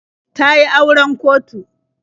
Ta yi auren kotu.